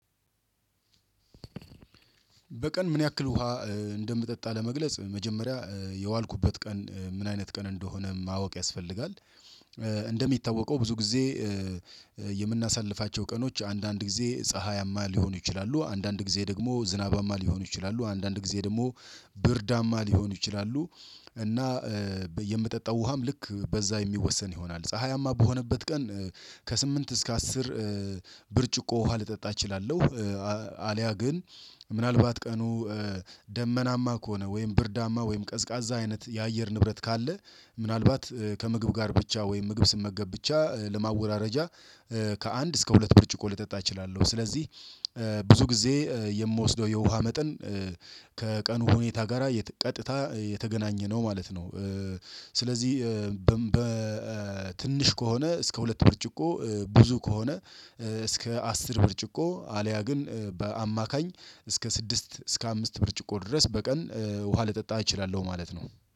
በቀን ምን ያክል ውሃ እንደምጠጣ ለመግለጽ መጀመሪያ የዋልኩበት ቀን ምን አይነት ቀን እንደሆነ ማወቅ ያስፈልጋ፤ እንደሚታወቀው ብዙ ጊዜ የምናሳልፋቸው ቀኖች አንዳንድ ጊዜ ፀሀያማ ሊሆኑ ይችላሉ፤ አንዳንድ ጊዜ ደግሞ ዝናባማ ሊሆኑ ይችላሉ፤ አንዳንድ ጊዜ ደግሞ ብርዳማ ሊሆኑ ይችላሉ፤ እና የምጠጣው ውሃም ልክ በዛ የሚወሰን ይሆናል፤ ፀሀያማ በሆነበት ቀን ከስምንት እስከ አስር ብርጭቆ ውሃ ልጠጣ እችላለሁ፤ አልያ ግን ምናልባት ቀኑ ደመናማ ከሆነ ወይም ብርዳማ ወይም ቀዝቃዛ አይነት የአየር ንብረት ካለ ምናልባት ከምግብ ጋር ብቻ ወይም ምግብ ስመገብ ብቻ ለማወራረጃ ከአንድ እስከ ሁለት ብርጭቆ ልጠጣ እችላለሁ ስለዚህ ብዙ ጊዜ የምወስደው የውሃ መጠን ከቀኑ ሁኔታ ጋራ ቀጥታ የተገናኘ ነው ማለት ነው። ስለዚህ በትንሽ ከሆነ እስከ ሁለት ብርጭቆ ብዙ ከሆነ እስከ አስር ብርጭቆ አልያ ግን በአማካኝ እስከ ስድስት እስከ አምስት ብርጭቆ ድረስ በቀን ውሃ ልጠጣ እችላለሁ ማለት ነው።